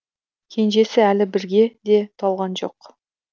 кенжесі әлі бірге де толған жоқ